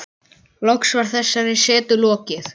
Loks var þessari setu lokið.